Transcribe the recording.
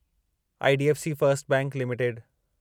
IDFC first bank limited